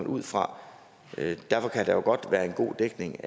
ud fra derfor kan der jo godt være en god dækning